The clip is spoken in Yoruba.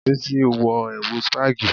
Bísí wọ ẹ̀wù spagi